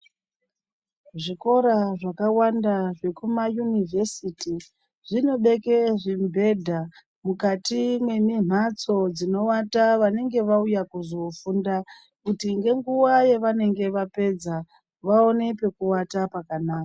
Zvikora zvakawanda zvekuma yunivhesiti zvinobeke zvimibhedha mukati mwemimphatso dzinowata vanenge vauya kuzofunda kuti ngenguwa yavanenge vapedza vaone pekuwata pakanaka.